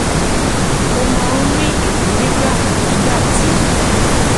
ó máa ń rí ìwúrí gbà nígbà tí